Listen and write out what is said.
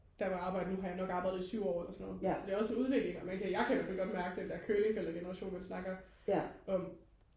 der hvor jeg arbejder nu har jeg nok arbejdet i syv år eller sådan noget så det er også en udvikling og man kan jeg kan ihvertfald godt mærke den der curlingforældre generation man snakker om